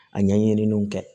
A ɲɛɲininiw kɛ